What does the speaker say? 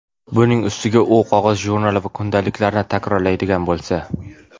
Buning ustiga, u qog‘oz jurnal va kundaliklarni takrorlaydigan bo‘lsa.